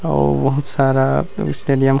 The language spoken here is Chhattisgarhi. अउ बहुत सारा स्टेडियम--